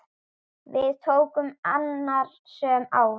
Við tóku annasöm ár.